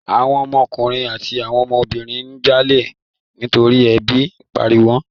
Àwọn ọmọ ọkùnrin àti àwọn ọmọ obìnrin ń jalè nítorí ebi ń pawọ́n.